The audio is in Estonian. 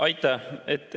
Aitäh!